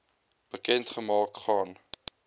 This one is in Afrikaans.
bekend gemaak gaan